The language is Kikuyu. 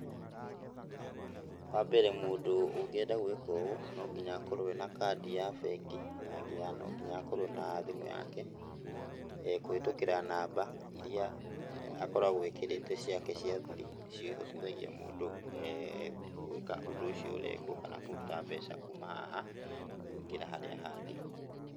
Wa mbere mũndũ ũngĩenda gwĩka ũũ no nginya akorwo ena kandi ya bengi na nginya no nginya akorwo na thimũ yake. ĩĩ kũhĩtũkĩra namba iria akoragwo ekĩrĩte ciake cia thiri nĩ cio ihotithagia mũndũ gwĩka ũndũ ũcio ũrekwo kana kũruta mbeca kuma haha kũingĩra harĩa hangĩ